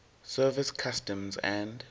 service customs and